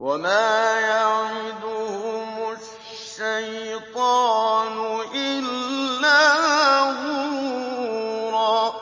وَمَا يَعِدُهُمُ الشَّيْطَانُ إِلَّا غُرُورًا